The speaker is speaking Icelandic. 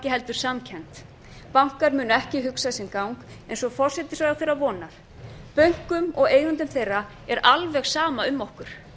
heldur samkennd bankar munu ekki hugsa sinn gang eins og forsætisráðherra vonar bönkum og eigendum þeirra er alveg sama um okkur